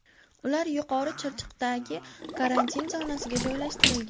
Ular Yuqori Chirchiqdagi karantin zonasiga joylashtirilgan.